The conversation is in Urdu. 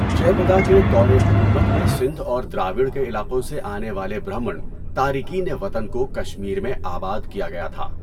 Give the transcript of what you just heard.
جے پڈا کے دور حکومت میں سندھ اور دراوڑ کے علاقوں سے آنے والے برہمن تارکین وطن کو کشمیر میں آباد کیا گیا تھا۔